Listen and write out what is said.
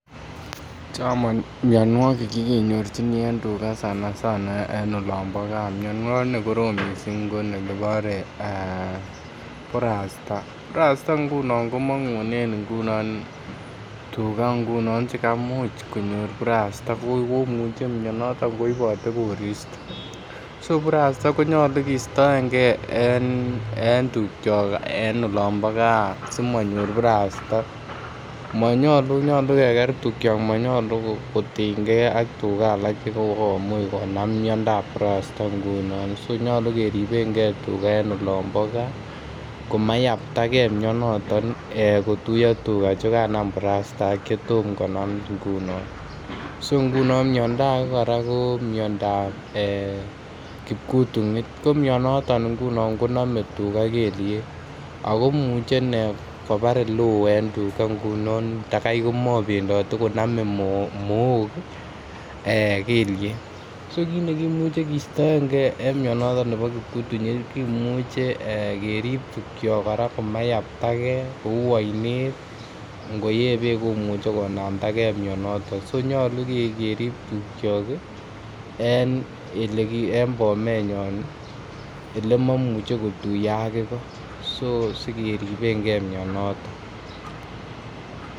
Chang mionwokik che kenyorjingee en tuga sana sana en olombo gaa miondo ne korom missing ko nekibore burasta, burasta ngunon komongunen ngunon tuga ngunon che kamuch konyor burasta komuche mionoton koibote koristo. so burasta konyoluu kistoengee en tugyok en olombo gaa simonyor burasta. Monyoluu nyoluu keger tukyok monyoluu kotinygee ak tuga alak che kokomuch konam miondap burasta ngunon, so nyoluu keribengee tuga en olombo gaa komayapta gee mionoton kotuyo tuga che kanam burasta ak che Tomo konam ngunon so ngunon miondo age ko miondap kipkutunyit ko mionoton ngunon konome tuga kelyek ako imuche inee kobar ele oo en tuga ngunon takai ko mobendote konome Mook ii ee kelyek so kiit nekimuche kistoengee en mionoton nebo kipkutunyit kimuche ee kerib tukyok koraa komayaptage kouu oinet ak ngo yee beek komuche konamdagee mionoton ko nyoluu kerib tukyok ii en bomenyon ele momuche kotuyo ak igo so .sikeribengee mionoton